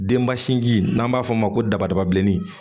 Denba sinji n'an b'a fɔ o ma ko dabadaba bilenni